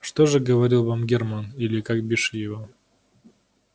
что же говорил вам германн или как бишь его